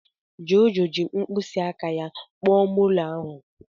Jojo ji mkpịsị aka ya kpọọ molo ahu.